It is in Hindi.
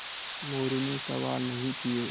मोरू ने सवाल नहीं किये